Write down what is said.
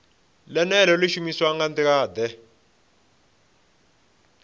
ḽeneḽo ḽi shumiswa nga nḓilaḓe